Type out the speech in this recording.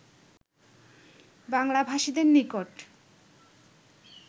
বাংলাভাষীদের নিকট